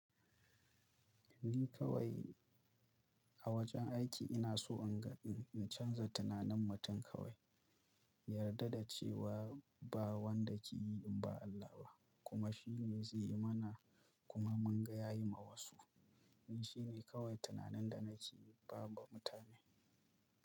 Ni kawai a wajen aiki ina so in ga, in canza tunanin mutum kawai, ya yarda da cewa ba wanda ke yi in ba Allah ba, kuma shi ne zai yi mana, kuma mun ga ya yi ma wasu. Ni shine kawai tunanin da nake ba ma mutane.